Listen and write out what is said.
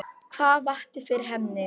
Hvað vakti fyrir henni?